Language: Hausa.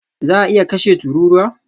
Za a iya kashe tururuwa?